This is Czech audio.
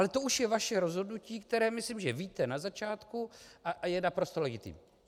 Ale to už je vaše rozhodnutí, které myslím, že víte na začátku, a je naprosto legitimní.